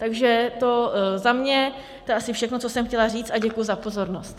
Takže tolik za mě, to je asi všechno, co jsem chtěla říct, a děkuji za pozornost.